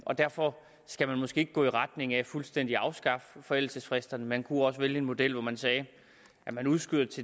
og derfor skal man måske ikke gå i retning af fuldstændig at afskaffe forældelsesfristerne man kunne også vælge en model hvor man sagde at den udskydes